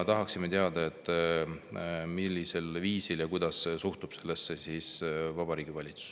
Tahaksime teada, kuidas suhtub sellesse Vabariigi Valitsus.